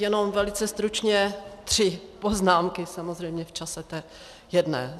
Jenom velice stručně tři poznámky samozřejmě v čase té jedné.